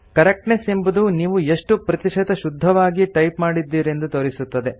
correctness ಎಂಬುದು ನೀವು ಎಶ್ಟು ಪ್ರತಿಶತ ಶುದ್ಧವಾಗಿ ಟೈಪ್ ಮಾಡಿದ್ದೀರೆಂದು ತೋರಿಸುತ್ತದೆ